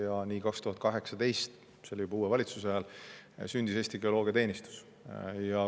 Ja nii 2018, see oli juba uue valitsuse ajal, sündis Eesti Geoloogiateenistus.